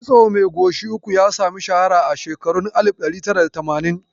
Kitso mai goshi uku ya sami shaara a shekarun alif ɗari tara da tamanin